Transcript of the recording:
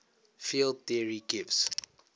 field theory gives